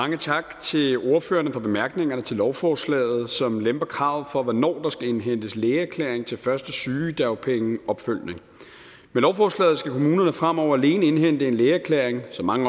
mange tak til ordførerne for bemærkningerne til lovforslaget som lemper kravet for hvornår der skal indhentes lægeerklæring til første sygedagpengeopfølgning med lovforslaget skal kommunerne fremover alene indhente en lægeerklæring som mange